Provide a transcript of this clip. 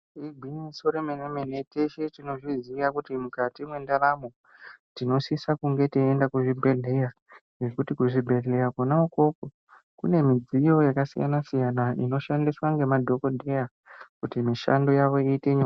Iri igwinyiso remene mene , teshe tozviziya kuti mukati mendaramo tinosisa kunge teienda kuzvibhedhlera ngekuti kuzvibhedhlera Kona ukoko kune midziyo yakasiyana siyana inoshandiswa nemadhokodheya kuti mishando yavo iite nyore.